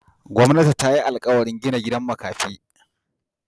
Gwamnati ta yi alkawarin gina gidan makafi.